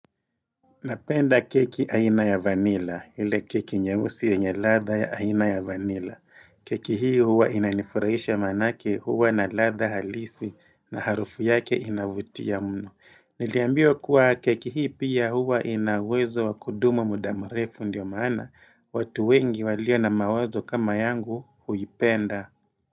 Napenda keki aina ya vanila, ile keki nyeusi yenye ladua ya aina ya vanila. Keki hii huwa inanifurahisha manake huwa na ladha halisi na harufu yake inavutia muno. Niliambiwa kuwa keki hii pia huwa ina uwezo wa kudumu muda mrefu ndio mana, watu wengi walio na mawazo kama yangu huipenda.